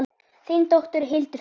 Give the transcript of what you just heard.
Þín dóttir, Hildur Brynja.